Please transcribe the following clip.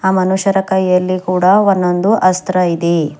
ಆ ಮನುಷ್ಯರ ಕೈಯಲ್ಲಿ ಕೂಡ ಒಂದೊಂದು ಅಸ್ತ್ರ ಇದೆ.